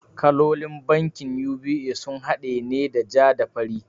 Kalolin bankin UBA sun haɗa ne da ja da fari